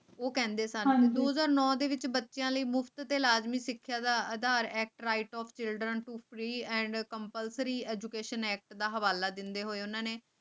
ਉਹ ਕਹਿੰਦੇ ਸਨ ਉਦੋਂ ਨੌ ਦੇ ਵਿੱਚ ਬੱਚਿਆਂ ਲਈ ਮੁਫਤ ਅਤੇ ਲਾਜ਼ਮੀ ਸਿੱਖਿਆ ਦਾ ਅਧਿਕਾਰ act right to education act ਦਾ ਹਵਾਲਾ ਦਿੰਦੇ ਹੋਏ ਉਨ੍ਹਾਂ ਨੇ